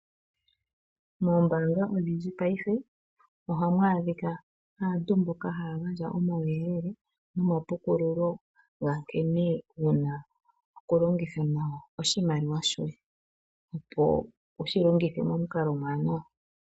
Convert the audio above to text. Moombanga odhindji payife ohamu adhika aantu mboka haya gandja omawuyelele nomapukululo ga nkene wuna oku longitha oshimaliwa shoye opo wushi longithe momukalo omuwanawa.